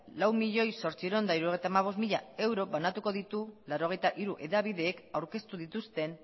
lau milioi zortziehun eta hirurogeita hamabost mila euro banatuko ditu laurogeita hiru hedabideek aurkeztu dituzten